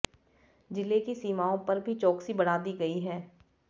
ज़िले की सीमाओं पर भी चौकसी बढ़ा दी गई है